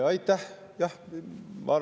Aitäh!